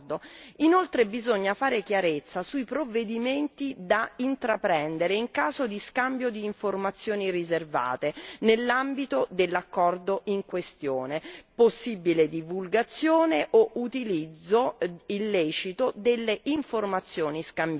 Inoltre, bisogna fare chiarezza sui provvedimenti da intraprendere in caso di scambio di informazioni riservate nell'ambito dell'accordo in questione, possibile divulgazione o utilizzo illecito delle informazioni scambiate.